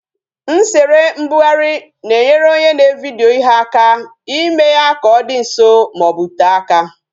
Nsere mbugharị na-enyere onye na-evidyo ihe aka ime ya ka ọ dị nso maọbu tee aka